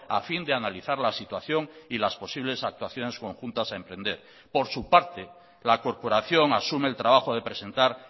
a fin de analizar la situación y las posibles actuaciones conjuntas a emprender por su parte la corporación asume el trabajo de presentar